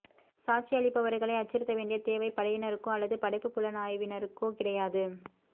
சாட்சியமளிப்பவர்களை அச்சுறுத்த வேண்டிய தேவை படையினருக்கோ அல்லது படைப் புலனாய்வினருக்கோ கிடையாது